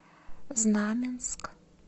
знаменск